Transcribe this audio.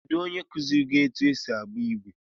Kedụ onye kuziiri gị etụ esị agba igwe?